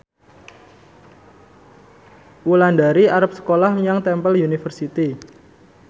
Wulandari arep sekolah menyang Temple University